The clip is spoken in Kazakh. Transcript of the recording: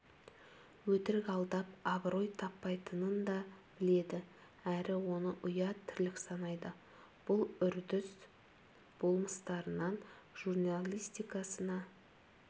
өтірік алдап абырой таппайтынын да біледі әрі оны ұят тірлік санайды бұл үрдіс болмыстарынан журналистикасына